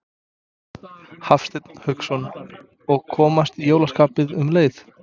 Hafsteinn Hauksson: Og komast í jólaskapið um leið?